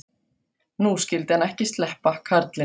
Nú skyldi hann ekki sleppa, karlinn.